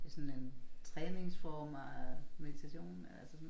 Det sådan en træningsform og meditation altså sådan